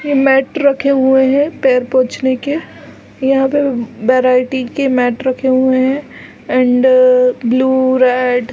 ये मैट रखे हुए है पैर पोछने के यहाँ पे वैरायटी के मैट रखे हुए है एंड ब्लू रेड --